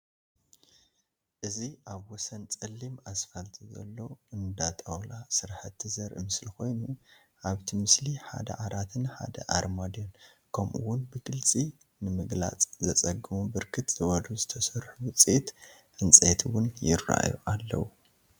እዚ አብ ወሰን ፀሊም አስፋልት ዘሎ አነዳ ጣውላ ስራሕቲ ዘርኢ ምስሊ ኮይኑ አብቲ ብስሊ ሓደ ዓራትን ሐደ አርማድዮን ከምኡ ውን ብግልፂ ንምግላፅ ዘፀግሙ ብርክት ዘበሉ ዝተሰርሑ ውፅኢት ዕንፀይቲ ውን ይረአዩ አለዉ፡፡